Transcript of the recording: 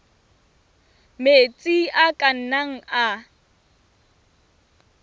metsi a ka nnang a